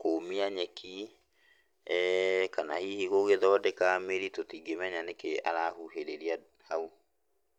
kũũmia nyeki, kana hihi gũgĩthondeka mĩri tũtingĩmenya nĩkĩ arahuhĩrĩria hau.